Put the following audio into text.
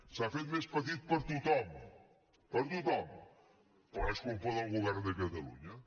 s’ha fet més petit per a tothom per a tothom però és culpa del govern de catalunya